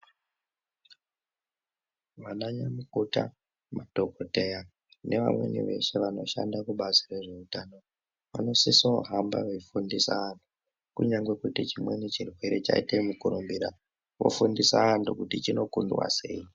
Vana nyamukuta, madhokodheya neamweni veshe vanoshanda kubazi rezveutano vanosiso kuhamba veifundisa vanhu kunyange chimweni chirwere chaita mukurumbira vofundisa anhu kuti chinokundwa sei.